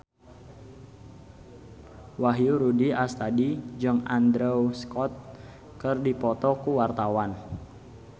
Wahyu Rudi Astadi jeung Andrew Scott keur dipoto ku wartawan